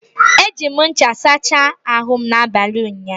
Eji m ncha sachaa n'abalị ụnyaahụ.